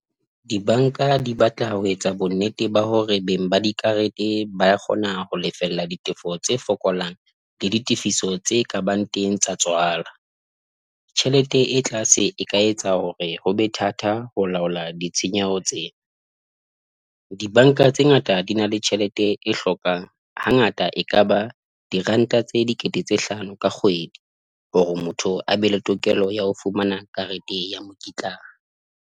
Dibanka di batla ho etsa bonnete ba hore beng ba dikarete ba kgona ho lefella ditefo tse fokolang le ditefiso tse kabang teng sa tswalo. Tjhelete e tlase e ka etsa hore hobe thata ho laola ditshenyehelo tseo. Dibanka tse ngata di na le tjhelete e hlokang ha ngata e ka ba diranta tse dikete tse hlano ka kgwedi hore motho a be le tokelo ya ho fumana karete ya mokitlana.